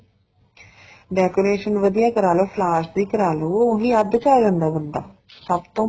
decoration ਵਧੀਆ ਕਰਵਾਲੋ flowers ਦੀ ਕਰਾਂਲੋ ਉਹ ਈ ਅੱਧ ਚ ਆ ਜਾਂਦਾ ਬੰਦਾ ਸਭ ਤੋਂ